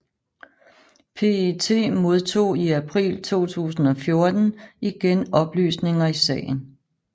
PET modtog i april 2014 igen oplysninger i sagen